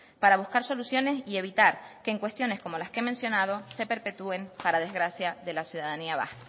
para buscar soluciones y evitar que en cuestiones como las que he mencionado se perpetúen para desgracia de la ciudadanía vasca